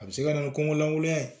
A bɛ se ka na nin kɔnkolangoyan ye